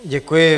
Děkuji.